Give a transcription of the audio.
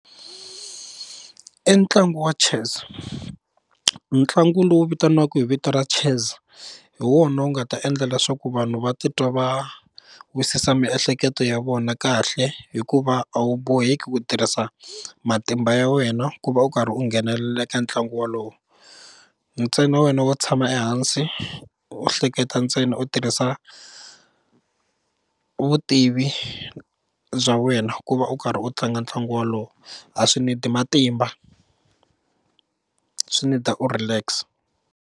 I ntlangu wa chess ntlangu lowu vitaniwaka hi vito ra chess hi wona wu nga ta endla leswaku vanhu va titwa va wisisa miehleketo ya vona kahle hikuva a wu boheki ku tirhisa matimba ya wena ku va u karhi u nghenelela eka ntlangu wolowo ntsena wena wo tshama ehansi u hleketa ntsena u tirhisa vutivi bya wena ku va u karhi u tlanga ntlangu wolowo a swi need matimba, swi need-a u relax.